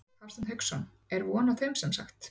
Hafsteinn Hauksson: Er von á þeim semsagt?